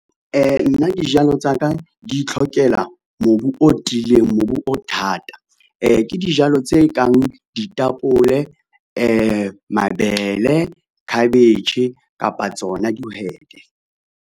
Nna dijalo tsa ka di itlhokela mobu o tiileng, mobu o thata. Ke dijalo tse kang ditapole, mabele, khabetjhe kapa tsona dihwete.